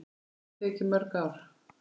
Hann hefur tekið mörg ár.